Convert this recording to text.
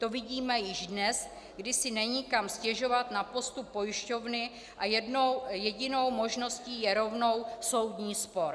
To vidíme již dnes, kdy si není kam stěžovat na postup pojišťovny a jedinou možností je rovnou soudní spor.